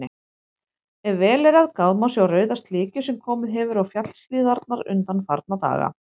Ef vel er gáð, má sjá rauða slikju sem komið hefur á fjallshlíðarnar undanfarna daga.